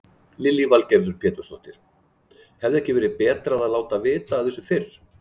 Lillý Valgerður Pétursdóttir: Hefði ekki verið betra að láta vita af þessu fyrr?